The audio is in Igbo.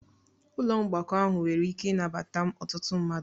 Ụlọ mgbakọ ahụ nwere ike ịnabata ọtụtụ mmadụ